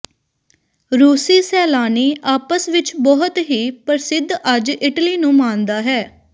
ਰੂਸੀ ਸੈਲਾਨੀ ਆਪਸ ਵਿੱਚ ਬਹੁਤ ਹੀ ਪ੍ਰਸਿੱਧ ਅੱਜ ਇਟਲੀ ਨੂੰ ਮਾਣਦਾ ਹੈ